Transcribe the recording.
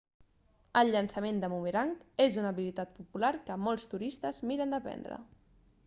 el llançament de bumerang és una habilitat popular que molts turistes miren d'aprendre